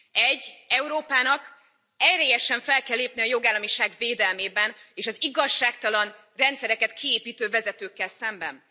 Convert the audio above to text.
Egy Európának erélyesen fel kell lépnie a jogállamiság védelmében és az igazságtalan rendszereket kiépítő vezetőkkel szemben!